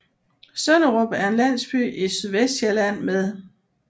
Sønderup er en landsby i Sydvestsjælland med